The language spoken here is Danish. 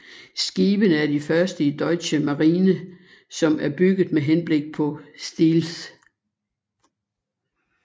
Skibene er de første i Deutsche Marine som er bygget med henblik på stealth